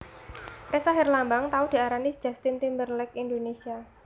Ressa Herlambang tau diarani Justin Timberlake Indonesia